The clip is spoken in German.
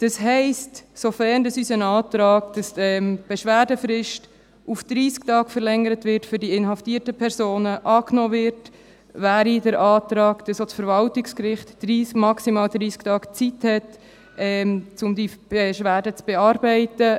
Das heisst: Sofern unser Antrag, wonach die Beschwerdefrist für die inhaftierten Personen auf 30 Tage zu verlängern ist, angenommen wird, gäbe es den Antrag, dass auch das Verwaltungsgericht maximal 30 Tage Zeit hat, die Beschwerde zu bearbeiten.